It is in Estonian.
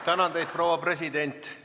Tänan teid, proua president!